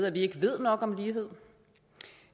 at vi ikke ved nok om lighed